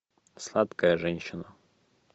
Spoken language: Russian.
сладкая женщина